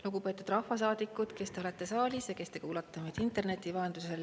Lugupeetud rahvasaadikud, kes te olete saalis ja kes te kuulate meid interneti vahendusel!